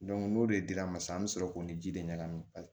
n'o de dira ma sisan an bɛ sɔrɔ k'o ni ji de ɲagami